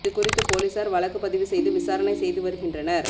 இது குறித்து போலீசார் வழக்கு பதிவு செய்து விசாரணை செய்து வருகின்றனர்